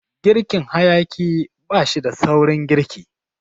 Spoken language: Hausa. Girkin hayaƙi bashida saurin girki.